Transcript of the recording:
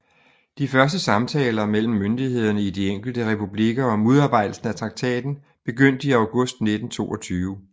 De første samtaler mellem myndighederne i de enkelte republikker om udarbejdelsen af traktaten begyndte i august 1922